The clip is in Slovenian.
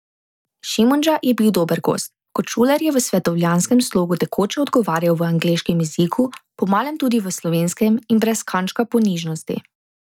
Šimundža je bil dober gost, kot Šuler je v svetovljanskem slogu tekoče odgovarjal v angleškem jeziku, po malem tudi v slovenskem, in brez kančka ponižnosti.